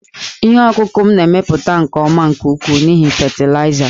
Ihe ọkụkụ m na-emepụta nke ọma nke ukwuu n'ihi fatịlaịza